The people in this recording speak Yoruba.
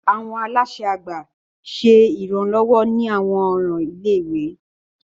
Awọn alaṣẹ àgbà ṣe iranlọwọ ni awọn ọran ilé-ìwé.